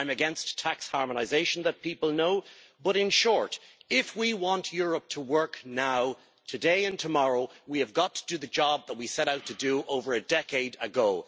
I am against tax harmonisation, as people know, but, in short, if we want Europe to work now, today and tomorrow, we have got to do the job that we set out to do over a decade ago.